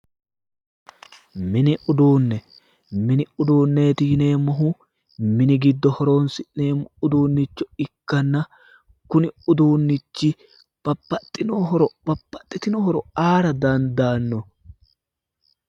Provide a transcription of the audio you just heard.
Mini uduunne mini udunneeti yineemmohu mini giddo horoonsi'neemmo uduunnicho ikkanna kuni uduunnichi babbaxxitino horo aara dandaanno